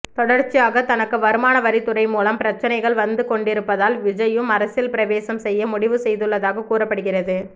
தொடர்ச்சியாக தனக்கு வருமானவரித் துறை மூலம் பிரச்சினைகள் வந்து கொண்டிருப்பதால் விஜய்யும் அரசியல் பிரவேசம் செய்ய முடிவு செய்துள்ளதாக கூறப்படுகிறது